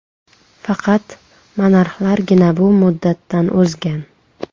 Faqat monarxlargina bu muddatdan o‘zgan.